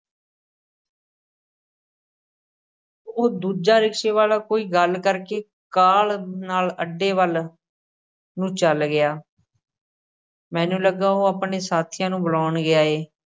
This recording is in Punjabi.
ਉਹ ਦੂਜਾ ਰਿਕਸ਼ਾ ਵਾਲ਼ਾ ਕੋਈ ਗੱਲ ਕਰਕੇ ਕਾਹਲ਼ ਨਾਲ਼ ਅੱਡੇ ਵੱਲ ਨੂੰ ਚੱਲ ਗਿਆ ਮੈਨੂੰ ਲੱਗਾ, ਉਹ ਆਪਣੇ ਸਾਥੀਆਂ ਨੂੰ ਬੁਲਾਉਣ ਗਿਆ ਏ।